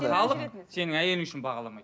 халық сені әйелің үшін бағаламайды